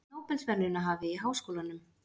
Nóbelsverðlaunahafi í háskólanum